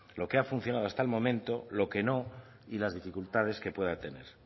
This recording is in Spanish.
lo que ha funcionado hasta el momento lo que no y las dificultades que pueda tener